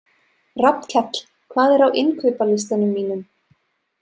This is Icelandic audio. Rafnkell, hvað er á innkaupalistanum mínum?